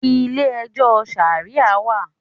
Ilé ẹjọ́ Ṣàríà wà.